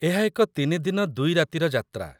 ଏହା ଏକ ୩-ଦିନ / ୨-ରାତିର ଯାତ୍ରା।